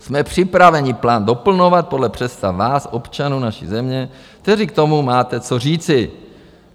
Jsme připraveni plán doplňovat podle představ vás, občanů naší země, kteří k tomu máte co říci.